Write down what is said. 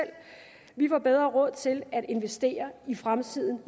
vi får bedre råd til at investere i fremtiden